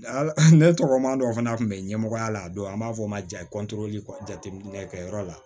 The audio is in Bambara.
Ala ne tɔgɔ madɔ fana tun bɛ ɲɛmɔgɔya la don an b'a fɔ o ma jateminɛkɛyɔrɔ la